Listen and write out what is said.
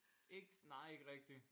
Ikke nej ikke rigtig